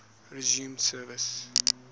resumed service